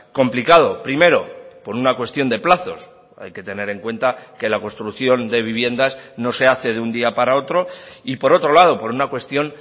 complicado primero por una cuestión de plazos hay que tener en cuenta que la construcción de viviendas no se hace de un día para otro y por otro lado por una cuestión